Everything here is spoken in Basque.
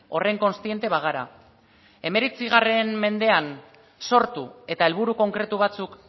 horren kontziente bagara hemeretzi mendean sortu eta helburu konkretu batzuk